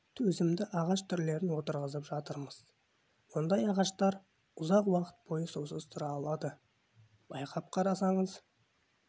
төзімді ағаш түрлерін отырғызып жатырмыз ондай ағаштар ұзақ уақыт бойы сусыз тұра алады байқап қарасаңыз